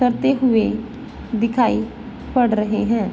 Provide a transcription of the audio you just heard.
करते हुए दिखाई पड़ रहे हैं।